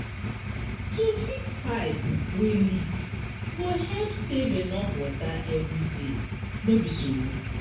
To fix pipe wey leak go help save enough water every day, no be so?